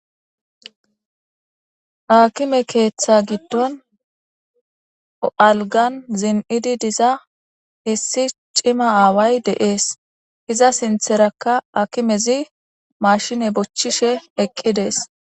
Akimme keetha giddon alggan zin77idi issi cima away de77es ezza sintharrakka akommey mashinne bochishe eqqidees